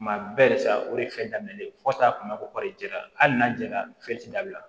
Kuma bɛɛ sa o de ye fɛn daminɛ ye fo taa kun b'a fɔ ko kɔrɔjɛra hali n'a jɛra fiyewula